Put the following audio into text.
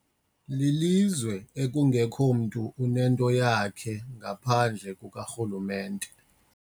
Lilizwe ekungekho mntu onento eyeyakhe ngaphandle kukarhulumente.